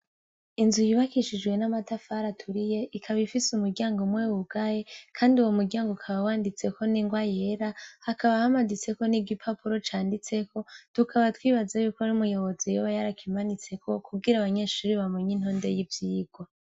Inzu yubakishijwe n'amatafari aturiye ikaba ifise umuryango umwe wugaye kandi uwo muryango ukaba wanditseko n'inrwa yera, hakaba hamaditseko n'igipapuro canditseko, tukaba twibaza yuko umuyobozi yoba yarakimanitseko kugira abanyeshure bamenye intonde y'ivyirwa.